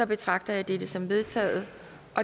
betragter jeg dette som vedtaget